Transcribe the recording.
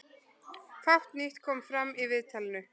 Fátt nýtt kom fram í viðtalinu